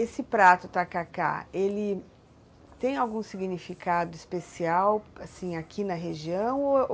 Esse prato, o tacacá, ele tem algum significado especial, assim, aqui na região? Ou,